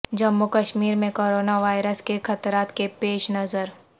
جموں کشمیر میں corona virus کے خطرات کے پیش نظر